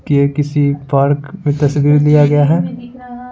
के किसी पार्क में तस्वीर दिया गया है।